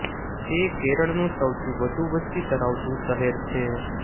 તે કેરળનું સૌથી વધુ વસ્તી ધરાવતું શહેર છે